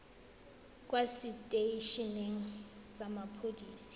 kwa setei eneng sa mapodisi